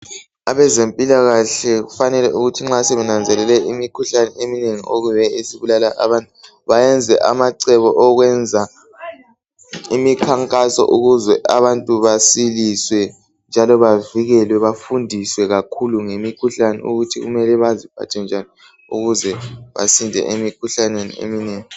Abezempilakahle kufanele ukuthi nxa sebenanzelele imikhuhlane eminengi okuyiyo esibulala abantu, bayenze amacebo okwenza imikhankaso. Ukuze abantu basiliswe, njalo bavikelwe. Bafundiswe kakhulu ngemikhuhlane, ukuthi kumele baziphathe njani. Ukuze basinde emikhuhlaneni eminengi.